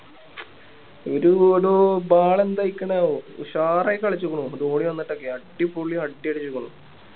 ഒരു Ball എന്തായിക്കണ് ഉഷാറായി കളിച്ചേക്ക്ണു ഇപ്പൊ ധോണി വന്നിട്ട് ഒക്കെ അടിപൊളി അടി അടിച്ചേക്ക്ണു